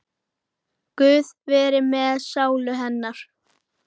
Guð veri með sálu hennar.